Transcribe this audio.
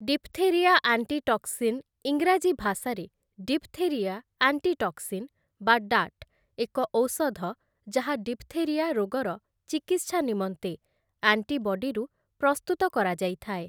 Diphtheria antitoxin ଇଂରାଜୀ ଭାଷାରେ diphtheria antitoxin ବା ଡାଟ୍ ଏକ ଔଷଧ ଯାହା ଡିଫ୍‌ଥେରିଆ ରୋଗର ଚିକିତ୍ସା ନିମନ୍ତେ ଆଣ୍ଟିବଡିରୁ ପ୍ରସ୍ତୁତ କରାଯାଇଥାଏ ।